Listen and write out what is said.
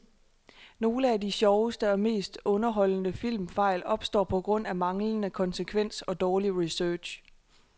Nogle af de sjoveste og mest underholdende filmfejl opstår på grund af manglende konsekvens og dårlig research.